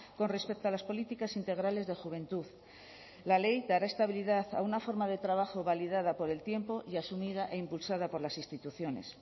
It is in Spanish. con respecto a las políticas integrales de juventud la ley dará estabilidad a una forma de trabajo validada por el tiempo y asumida e impulsada por las instituciones